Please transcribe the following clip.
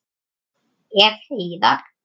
Ef. heiðar